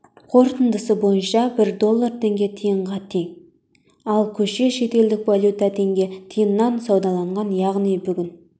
қорытындысы бойынша бір доллар теңге тиынға тең ал кеше шетелдік валюта теңге тиыннан саудаланған яғни бүгін